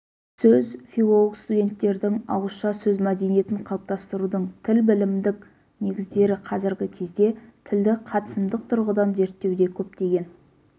сөз филолог-студенттердің ауызша сөз мәдениетін қалыптастырудың тілбілімдік негіздері қазіргі кезде тілді қатысымдық тұрғыдан зерттеуде көптеген